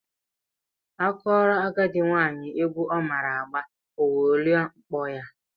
A kụọrọ agadị nwaanyị egwu ọ maara agba, o welie mkpọ ya.